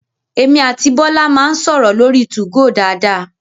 Emi àti Bọ́lá máa ń sọ̀rọ̀ lórí 2go dáadáa